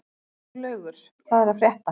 Siglaugur, hvað er að frétta?